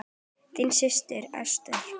Þín systir, Ester.